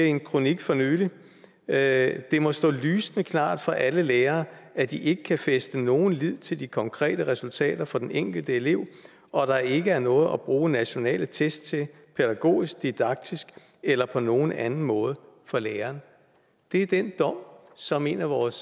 i en kronik for nylig at det må stå lysende klart for alle lærere at de ikke kan fæste nogen lid til de konkrete resultater for den enkelte elev og at der ikke er noget at bruge nationale test til pædagogisk didaktisk eller på nogen anden måde for læreren det er den dom som en af vores